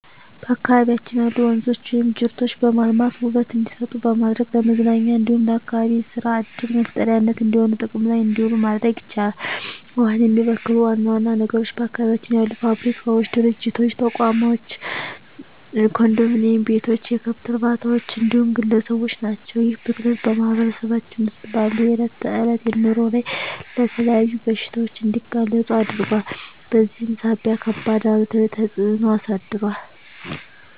በአካባቢያችን ያሉ ወንዞች ወይም ጅረቶችን በማልማት ውበት እንዲሰጡ በማድረግ ለመዝናኛ እንዲሁም ለአካባቢ የሰራ ዕድል መፍጠሪያነት እንዲሆኑ ጥቅም ላይ እንዲውሉ ማድረግ ይቻላል። ውሃውን የሚበክሉ ዋና ዋና ነገሮች በአካባቢያችን ያሉ ፋብሪካዎች፣ ድርጅቶች፣ ተቋማቶች፣ ኮንዶሚኒዬም ቤቶች፣ የከብት እርባታዎች እንዲሁም ግለሰቦች ናቸው። ይህ ብክለት በማህበረሰባችን ውስጥ ባለው የዕለት ተዕለት ኑሮ ላይ ለተለያዩ በሽታዎች እንዲጋለጡ አድርጓል በዚህም ሳቢያ ከባድ አሉታዊ ተፅዕኖ አሳድሯል።